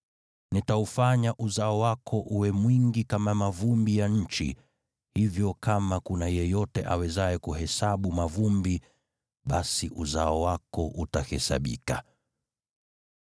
Nitaufanya uzao wako uwe mwingi kama mavumbi ya nchi, hivyo kama kuna yeyote awezaye kuhesabu mavumbi, basi uzao wako utahesabika.